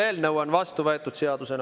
Eelnõu on seadusena vastu võetud.